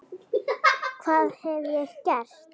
Hvað hef ég gert?.